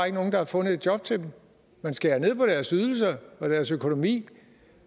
ikke nogen der har fundet et job til dem man skærer ned på deres ydelser og deres økonomi